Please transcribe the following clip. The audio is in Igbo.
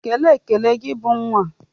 Kele ekele gị bụ nnwa!